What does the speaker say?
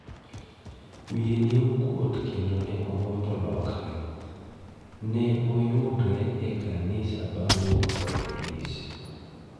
Wiye ne okuot kendo ne ogombo lokre, ne oyudre ekanisa bang' wuok ka polis.